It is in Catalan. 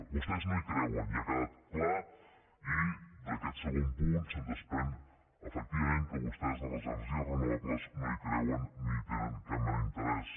vostès no hi creuen ja ha quedat clar i d’aquest segon punt se’n desprèn efectivament que vostès en les energies renovables no hi creuen ni hi tenen cap mena d’interès